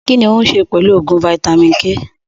Kínní òun ṣe pẹlu oògùn vitamin-k